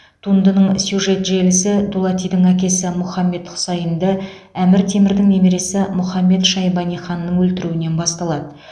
туындының сюжет желісі дулатидің әкесі мұхаммед хұсайынды әмір темірдің немересі мұхаммед шайбани ханның өлтіруінен басталады